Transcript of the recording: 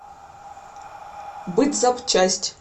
бытзапчасть